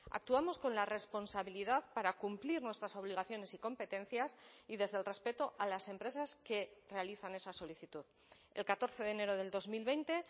actuamos con la responsabilidad para cumplir nuestras obligaciones y competencias y desde el respeto a las empresas que realizan esa solicitud el catorce de enero del dos mil veinte